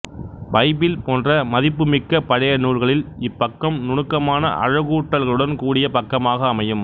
Bible போன்ற மதிப்புமிக்க பழைய நூல்களில் இப் பக்கம் நுணுக்கமான அழகூட்டல்களுடன் கூடிய பக்கமாக அமையும்